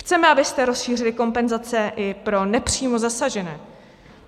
Chceme, abyste rozšířili kompenzace i pro nepřímo zasažené.